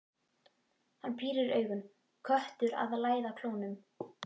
Hann pírir augun, köttur að læða klónum.